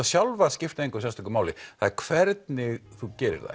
sjálfar skipta engu sérstöku máli það er hvernig þú gerir þær